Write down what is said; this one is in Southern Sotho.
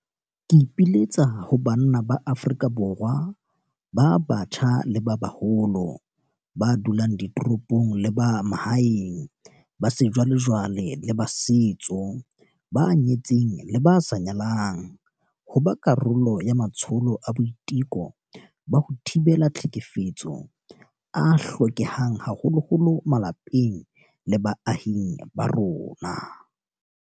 Ke ipiletsa ho banna ba Afrika Borwa ba batjha le ba baholo, ba dulang ditoropong le ba mahaeng, ba sejwalejwale le ba setso, ba nyetseng le ba sa nyalang, ho ba karolo ya matsholo a boiteko ba ho thibela tlhekefetso a hlokehang haholo malapeng le baahing ba rona.